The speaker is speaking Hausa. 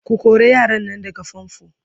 ko kora yaran Nan daga fanfo!